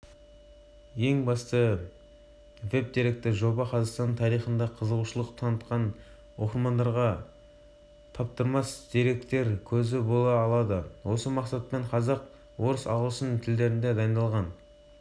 веб-деректі жоба жылдан бастап жылға дейінгі ширек ғасырда еліміз басынан өткерген айтулы оқиғаларды ұсынған архивтік фотолар